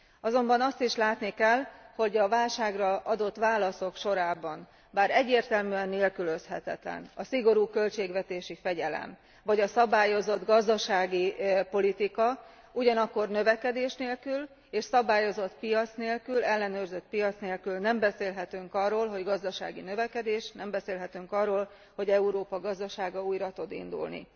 Azonban azt is látni kell, hogy a válságra adott válaszok sorában, bár egyértelműen nélkülözhetetlen a szigorú költségvetési fegyelem, vagy a szabályozott gazdaságpolitika, növekedés és szabályozott piac nélkül, ellenőrzött piac nélkül nem beszélhetünk gazdasági növekedésről, nem beszélhetünk arról, hogy Európa gazdasága újra tud indulni.